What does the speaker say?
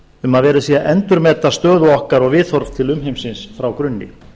um að verið sé að endurmeta stöðu okkar og viðhorf til umheimsins frá grunni